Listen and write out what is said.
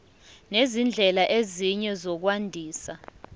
nezindlela ezinye zokwandisa